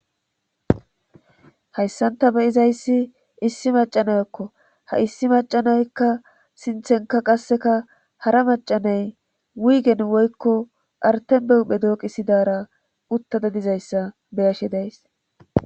Hayssan ta beyizayssi issi macanayakko ha issi macanaykka sinthenka qasseka hara macanay wiigen woykko artenbehuphe dooqi sidara uttada dizayssa beyashe days.